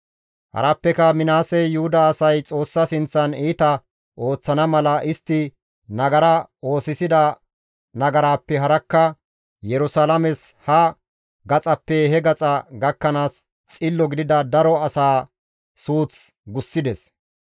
Harappeka Minaasey Yuhuda asay Xoossa sinththan iita ooththana mala istti nagara oosisida nagaraappe harakka Yerusalaames ha gaxappe he gaxa gakkanaas xillo gidida daro asaa suuth gussides.